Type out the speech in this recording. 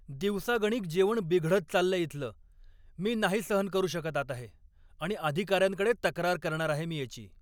दिवसागणिक जेवण बिघडत चाललंय इथलं. मी नाही सहन करू शकत आता हे आणि अधिकाऱ्यांकडे तक्रार करणार आहे मी याची.